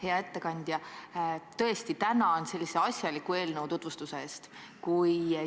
Hea ettekandja, ma tänan väga sellise asjaliku eelnõu tutvustuse eest!